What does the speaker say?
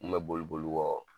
U kun bɛ boli boli n kɔ